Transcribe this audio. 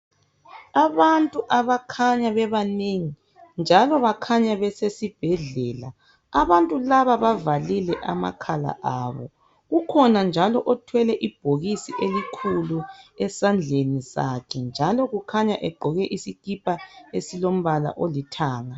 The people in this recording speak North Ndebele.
Abantu abakhanya bebanengi njalo bakhanya besesibhedlela. Abantu laba bavalile amakhala abo. Kukhona njalo othwele ibhokisi elikhulu esandleni sakhe njalo kukhanya egqoke isikipa esilombala olithanga.